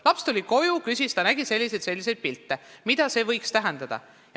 Laps tuli koju ja ütles, et ta oli näinud selliseid ja selliseid pilte, ning küsis, mida see võiks tähendada.